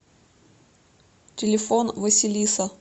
телефон василиса